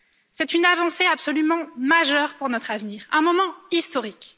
C'est une avancée absolument majeure pour notre avenir, un moment historique.